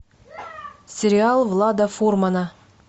сериал влада формана